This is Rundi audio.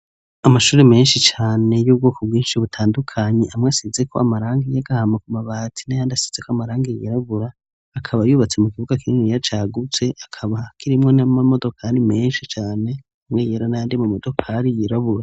Amashuri menshi cane y'ubwoko bwinshi butandukanyi amwe asize ko amaranga y'agahama ku mabati na yandi asize ko amarangi yirabura akaba yubatse mu kibuga k'inini yacagutse akaba hakirimo n'a mamodokari menshi cane amwe yera na yandime modokari yirabura.